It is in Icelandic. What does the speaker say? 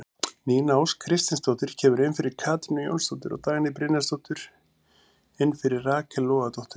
Nína Ósk Kristinsdóttir kemur inn fyrir Katrínu Jónsdóttur og Dagný Brynjarsdóttir inn fyrir Rakel Logadóttur.